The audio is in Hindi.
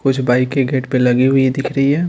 कुछ बाइके गेट पे लगी हुई दिख रही है।